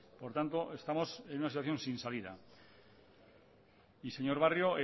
por tanto estamos en una situación sin salida señor barrio